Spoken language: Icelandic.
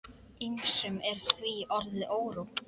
Ýmsum er því orðið órótt.